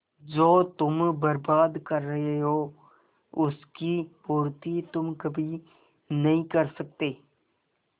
जो तुम बर्बाद कर रहे हो उसकी पूर्ति तुम कभी नहीं कर सकते